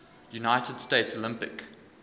united states olympic